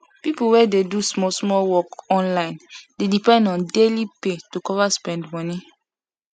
people wey dey do small small work online dey depend on daily pay to cover spend money